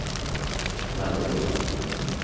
människor